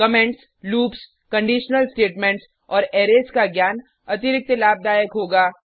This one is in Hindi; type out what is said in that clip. कमेंट्स लूप्स कंडिशनल स्टेटमेंट्स और अरैज का ज्ञान अतिरिक्त लाभदायक होगा